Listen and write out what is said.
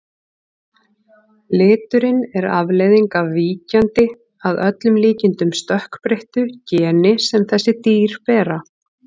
Liturinn er afleiðing af víkjandi, að öllum líkindum stökkbreyttu, geni sem þessi dýr bera.